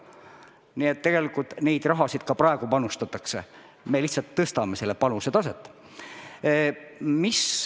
Nii et tegelikult seda raha ka praegu panustatakse, me lihtsalt tõstame selle panuse taset.